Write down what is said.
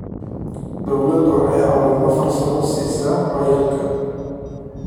Dawladdu waxay caawimo farsamo siisaa waayeelka.